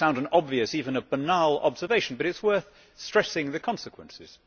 That may sound an obvious, even a banal, observation, but it is worth stressing the consequences.